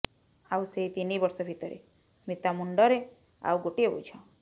ଆଉ ସେଇ ତିନିବର୍ଷ ଭିତରେ ସ୍ମିତା ମୁଣ୍ଡରେ ଆଉ ଗୋଟିଏ ବୋଝ